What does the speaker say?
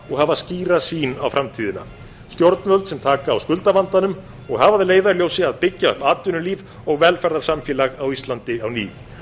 og hafa skýra sýn á framtíðina stjórnvöld sem taka á skuldavandanum og hafa að leiðarljósi að byggja upp atvinnulíf og velferðarsamfélag á íslandi á ný